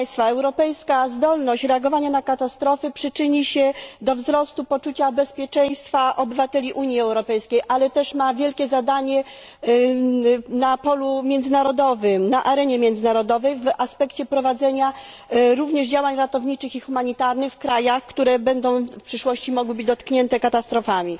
Europejska zdolność reagowania na katastrofy przyczyni się do wzrostu poczucia bezpieczeństwa obywateli Unii Europejskiej, ale też ma wielkie zadanie na polu międzynarodowym, na arenie międzynarodowej, w aspekcie prowadzenia również działań ratowniczych i humanitarnych w krajach, które w przyszłości mogą być dotknięte katastrofami.